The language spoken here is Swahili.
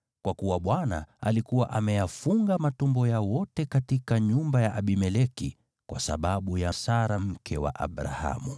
kwa kuwa Bwana alikuwa ameyafunga matumbo ya wote katika nyumba ya Abimeleki kwa sababu ya Sara, mke wa Abrahamu.